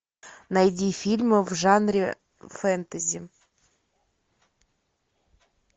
найди фильмы в жанре фэнтези